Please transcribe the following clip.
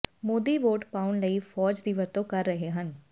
Modi vote ਪਾਉਣ ਲਈ ਫੌਜ ਦੀ ਵਰਤੋਂ ਕਰ ਰਹੇ ਹਨ